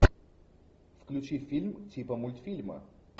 включи фильм типа мультфильма